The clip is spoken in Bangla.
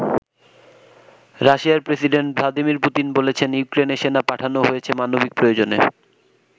রাশিয়ার প্রেসিডেন্ট ভ্লাদিমির পুতিন বলেছেন ইউক্রেনে সেনা পাঠানো হয়েছে মানবিক প্রয়োজনে।